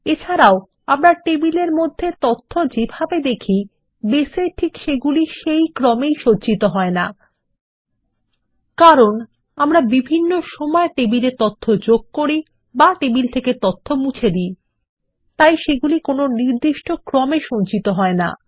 এছাড়াও আমরা টেবিলের মধ্যে যে তথ্য যেভাবে দেখি সেগুলি বেস এ ঠিক একই ক্রমে সংরক্ষিত হয় না কারণ আমরা বিভিন্ন সময়ে টেবিলে তথ্য যোগ করি বা তথ্য মুছে দি তাই সেগুলি নির্দিষ্ট ক্রমে সংরক্ষিত হয়না